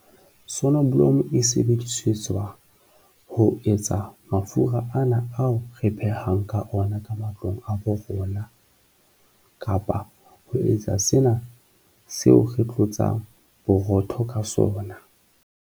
Sonoblomo e sebedisetswa ho etsa mafura ana ao re phehang ka ona ka matlong a bo rona kapa ho etsa sena seo re tlotsang borotho ka sona.